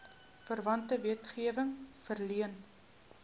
verwante wetgewing verleen